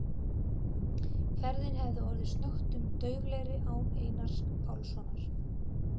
Ferðin hefði orðið snöggtum dauflegri án Einars Pálssonar.